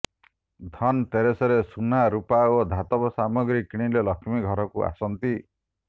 ଧନତେରସ୍ରେ ସୁନା ରୂପା ଓ ଧାତବ ସାମଗ୍ରୀ କିଣିଲେ ଲକ୍ଷ୍ମୀ ଘରକୁ ଆସନ୍ତି